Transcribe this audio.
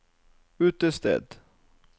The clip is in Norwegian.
utested